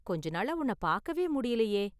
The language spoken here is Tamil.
கொஞ்ச நாளா உன்ன பாக்கவே முடியலயே?